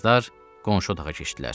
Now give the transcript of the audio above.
Qızlar qonşu otağa keçdilər.